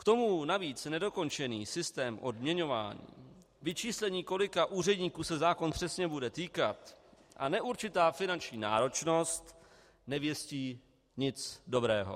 K tomu navíc nedokončený systém odměňování, vyčíslení, kolika úředníků se zákon přesně bude týkat, a neurčitá finanční náročnost nevěstí nic dobrého.